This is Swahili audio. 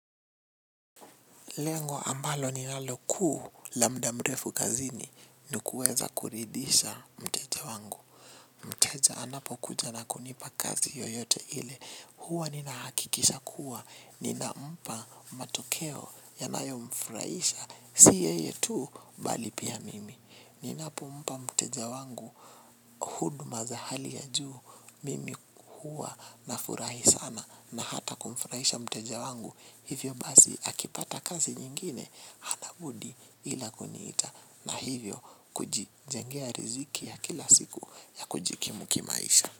Lengo ambalo ninalo kuu la muda mrefu kazini ni kuweza kuridhisha mteja wangu. Mteja anapokuja na kunipa kazi yoyote ile. Huwa ninahakikisha kuwa. Ninampa matokeo yanayomfuraisha. Si yeye tu mbali pia mimi. Ninapo mpa mteja wangu huduma za hali ya juu. Mimi huwa nafurahi sana na hata kumfuraisha mteja wangu. Hivyo basi akipata kazi nyingine hana budi ila kuniita na hivyo kujijengea riziki ya kila siku ya kujikimu kimaisha.